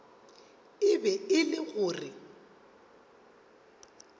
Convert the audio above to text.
e be e le gore